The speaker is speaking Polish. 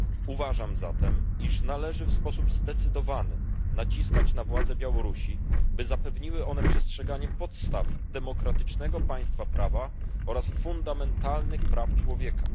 Uważam zatem, iż należy w sposób zdecydowany naciskać na władze Białorusi, by zapewniły one przestrzeganie podstaw demokratycznego państwa prawa oraz fundamentalnych praw człowieka.